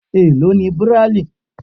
Èló ni Bíráílì?